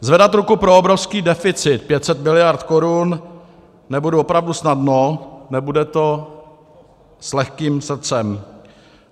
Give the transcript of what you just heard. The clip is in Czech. Zvedat ruku pro obrovský deficit 500 miliard korun nebudu opravdu snadno, nebude to s lehkým srdcem.